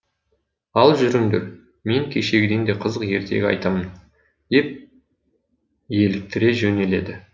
ал жүріңдер мен кешегіден де қызық ертегі айтамын деп еліктіре жөнеледі